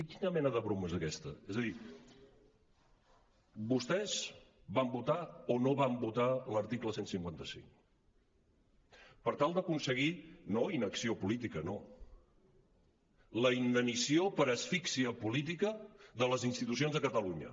quina mena de broma és aquesta és a dir vostès van votar o no van votar l’article cent i cinquanta cinc per tal d’aconseguir no inacció política no la inanició per asfíxia política de les institucions de catalunya